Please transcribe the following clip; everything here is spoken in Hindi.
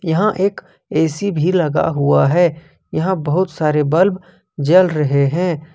यहां एक ऐ_सी भी लगा हुआ है यहां बहुत सारे बल्ब जल रहे हैं।